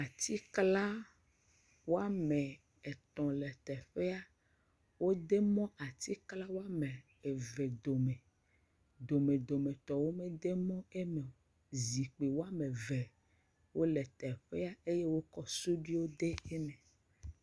Atikla woame etɔ̃ le teƒea, wo de mɔ atikla woame eve dome, dome dome tɔ wo me de mɔ emeo, zikpui woame eve wole teƒea, eye wo kɔ suduiwo de eme.